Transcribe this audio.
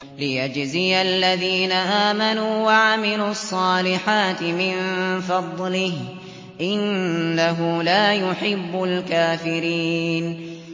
لِيَجْزِيَ الَّذِينَ آمَنُوا وَعَمِلُوا الصَّالِحَاتِ مِن فَضْلِهِ ۚ إِنَّهُ لَا يُحِبُّ الْكَافِرِينَ